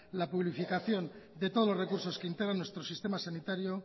la publificación de todos los recursos que integran nuestro sistema sanitario